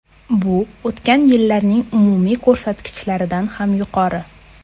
Bu o‘tgan yillarning umumiy ko‘rsatkichlaridan ham yuqori.